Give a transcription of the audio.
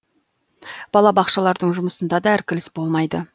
балабақшалардың жұмысында да іркіліс болмайды